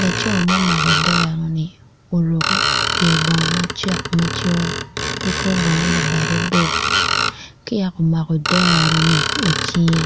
laco ma omako oderoni oruko pyer bongo macek macol ki kor bongo labade bor ka yaka omako ederoni icinge.